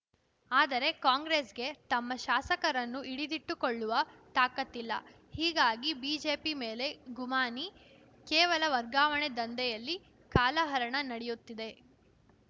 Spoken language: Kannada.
ಆದರೆ ಕಾಂಗ್ರೆಸ್‌ಗೆ ತಮ್ಮ ಶಾಸಕರನ್ನು ಹಿಡಿದಿಟ್ಟುಕೊಳ್ಳುವ ತಾಕತ್ತಿಲ್ಲ ಹೀಗಾಗಿ ಬಿಜೆಪಿ ಮೇಲೆ ಗುಮಾನಿ ಕೇವಲ ವರ್ಗಾವಣೆ ದಂಧೆಯಲ್ಲಿ ಕಾಲಹರಣ ನಡೆಯುತ್ತಿದೆ